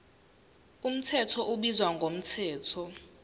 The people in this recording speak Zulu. mthetho ubizwa ngomthetho